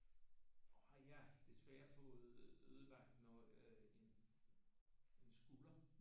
Har jeg desværre fået ødelagt noget en skulder